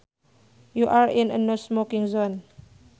You are in a no smoking zone